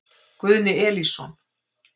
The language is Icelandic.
Guðni Elísson.